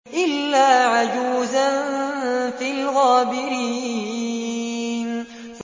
إِلَّا عَجُوزًا فِي الْغَابِرِينَ